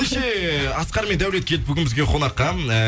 ендеше асқар мен даулет келді бізге қонаққа эээ